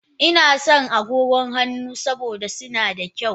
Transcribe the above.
Ina sa agogon hannu saboda suna da kyau.